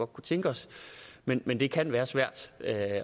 kunne tænke os men men det kan være svært